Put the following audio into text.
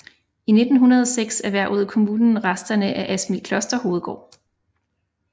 I 1906 erhvervede kommunen resterne af Asmildkloster hovedgård